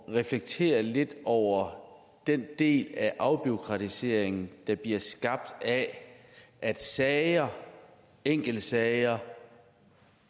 reflektere lidt over den del af afbureaukratiseringen der bliver skabt af at sager enkeltsager